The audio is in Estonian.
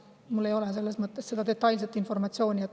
Mul ei ole detailset informatsiooni.